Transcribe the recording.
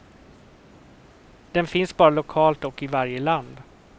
Den finns bara lokalt och i varje land.